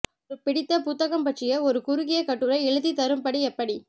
ஒரு பிடித்த புத்தகம் பற்றி ஒரு குறுகிய கட்டுரை எழுதித் தரும்படி எப்படி